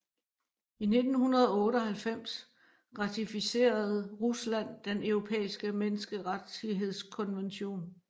I 1998 ratificerede Rusland Den Europæiske Menneskerettighedskonvention